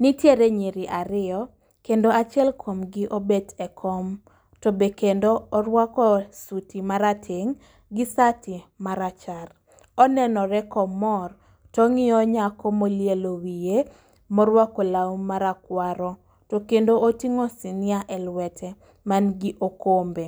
Nitiere nyiri ariyo kendo achiel kuom gi obet e kom, to be kendo orwako suti marateng' gi sati marachar. Onenore komoro tong'iyo nyako molielo wiye morwako lawu marakwaro, to kendo oting'o sinia e lwete man gi okombe.